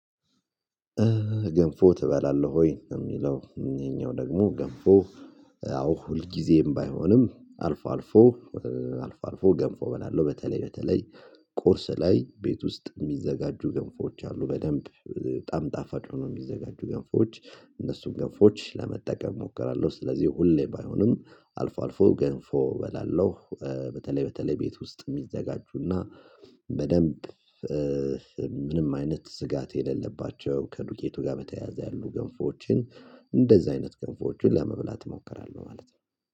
ገንፎ ትበላለህ ወይ? የሚለው ይሄኛው ደግሞ ገንፎ ያው ሁል ጊዜም ባይሆንም አልፎ አልፎ አልፎ ገንፎ እበላለሁ በተለይ በተለይ ቁርስ ላይ ቤት ውስጥ የሚዘጋጁ ገንፎች አሉ በደንብ በጣም ጣፋጭ ሆኖ የሚዘጋጁ ገንፎች እነሱን ገንፎች ለመጠቀም እሞክራለሁ ስለዚህ ሁሌ ባይሆንም አልፎ አልፎ ገንፎ እበላለሁ። በተለይ በተለይ ቤት ውስጥ የሚዘጋጁና በደንብ ምንም አይነት ስጋት የሌለባቸው ከዱቄቱ ጋር በተያያዘ ያሉ ገንፎችን እንደዛ አይነት ገንፎችን ለመብላት እሞክራለሁ ማለት ነው